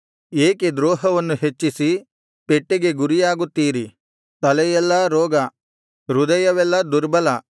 ಏಕೆ ದ್ರೋಹವನ್ನು ಹೆಚ್ಚಿಸಿ ಪೆಟ್ಟಿಗೆ ಗುರಿಯಾಗುತ್ತೀರಿ ತಲೆಯೆಲ್ಲಾ ರೋಗ ಹೃದಯವೆಲ್ಲಾ ದುರ್ಬಲ